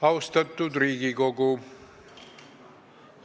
Austatud Riigikogu!